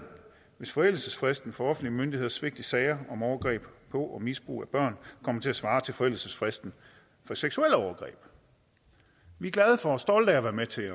hvis forældelsesfristen for offentlige myndigheders svigt i sager om overgreb på og misbrug af børn kommer til at svare til forældelsesfristen for seksuelle overgreb vi er glade for og stolte af at være med til